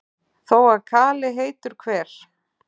þó að kali heitur hver